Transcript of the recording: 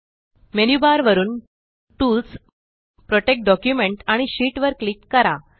menu bar वरुन tools protect document आणि sheet वर क्लिक करा